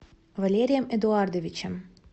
валерием эдуардовичем